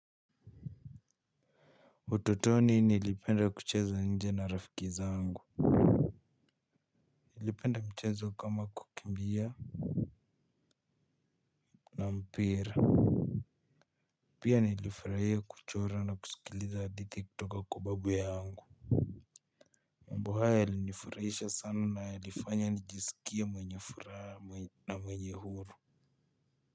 Utotoni nilipenda kucheza nje na rafiki zangu nilipenda mchezo kama kukimbia na mpira. Pia nilifraia kuchora na kusikiliza hadithi kutoka kwa babu yangu. Mambo haya yalinifurahisha sana na yalifanya nijisikie mwenye furaha na mwenye huru.